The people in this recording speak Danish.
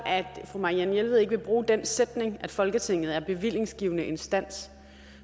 fru marianne jelved ikke vil bruge den sætning at folketinget er bevillingsgivende instans